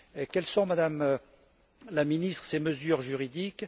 Quels sont, Madame la Ministre, ces mesures juridiques?